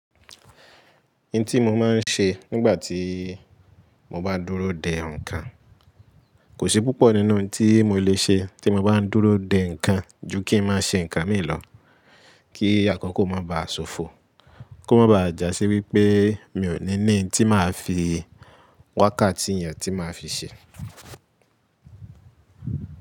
Ohun tí mo máa ń ṣe nígbà tí mo bá dúró de ǹkan, kò sí púpọ̀ nínú ohun tí mo lè ṣe tí mo bá ń dúró de ǹkan ju kí ń má ṣe ǹkan mi lọ. Kí àkọ́kọ́ o má ba à ṣofo, ko ma ba à jásí wípé mi o ní ní ohun tí màá fi wákàtí yẹn tí màá fi ṣe.